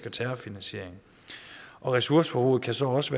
og terrorfinansiering ressourceforbruget kan så også